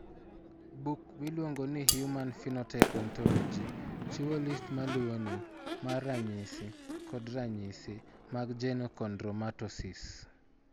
Buk miluongo ni Human Phenotype Ontology chiwo list ma luwoni mar ranyisi kod ranyisi mag Genochondromatosis.